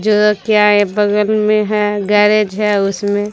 जो क्या है बगल में है गैरेज है उसमें।